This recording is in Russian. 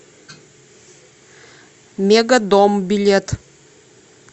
мегадом билет